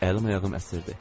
Əlim ayağım əsirdi.